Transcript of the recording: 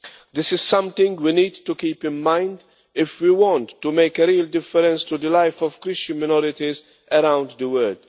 This is something we need to keep in mind if we want to make a real difference to the life of Christian minorities around the world.